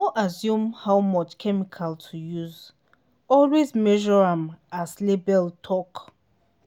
no assume how much chemical to use—always measure am as label talk.